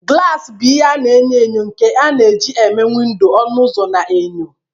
Glasi bụ ihe na-enyo enyo nke a na-eji eme windo, ọnụ ụzọ, na enyo.